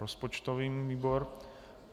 Rozpočtový výbor.